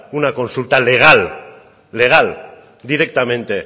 una consulta legal legal directamente